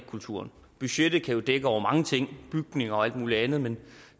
kulturen budgettet kan jo dække over mange ting bygninger og alt muligt andet men